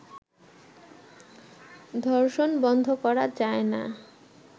ধর্ষণ বন্ধ করা যায় না